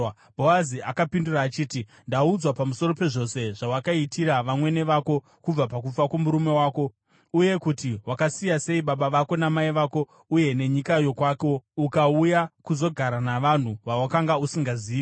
Bhoazi akapindura achiti, “Ndakaudzwa pamusoro pezvose zvawakaitira vamwene vako kubva pakufa kwomurume wako, uye kuti wakasiya sei baba vako namai vako uye nenyika yokwako ukauya kuzogara navanhu vawakanga usingazivi.